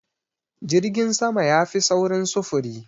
Jirgin sama yafi saurin sufuri.